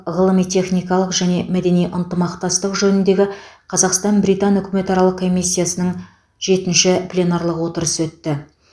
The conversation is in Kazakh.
ғылыми техникалық және мәдени ынтымақтастық жөніндегі қазақстан британ үкіметаралық комиссиясының жетінші пленарлық отырысы өтті